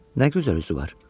Nə gözəl üzü var!